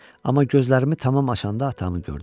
Amma gözlərimi tamam açanda atamı gördüm.